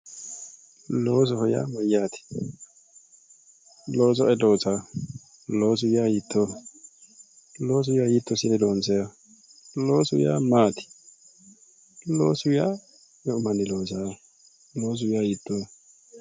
loosoho yaa mayyaate? looso ayi loosaa ? loosu yaa hiittooho? loosu yaa hiitto assine loonsayiiho? loosu yaa maati? loosu yaa meu manni loosaaho? loosu yaa hiittooho ?